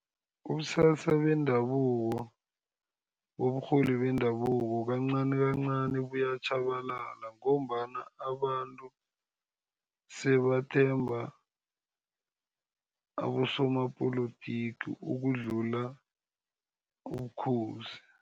Ubusasa bendabuko, uburholi bendabuko kancanikancani buyatjhabalala, ngombana abantu sebathemba abosomapolotiki ukudlula ubukhosi.